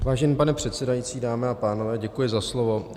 Vážený pane předsedající, dámy a pánové, děkuji za slovo.